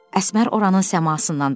Əsmər oranının səmasından danışdı.